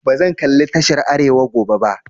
Bazan kalli tashar arewa gobe ba.